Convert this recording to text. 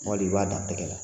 Tumɔ lu i b'a dan tɛgɛ la